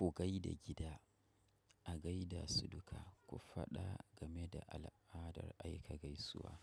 Ku gaida gida, a gaida su duka, ku faɗa game da al'adar aika gaisuwa.